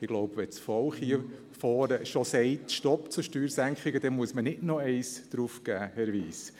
Ich glaube, wenn das Volk schon stopp zu den Steuersenkungen sagt, dann muss man nicht noch eines draufgeben, Herr Wyss.